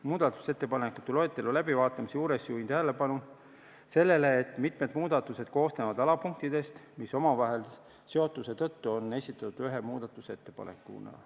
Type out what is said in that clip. Muudatusettepanekute loetelu läbivaatamise juures juhin tähelepanu sellele, et mitmed muudatused koosnevad alapunktidest, mis omavahelise seotuse tõttu on esitatud ühe muudatusettepanekuna.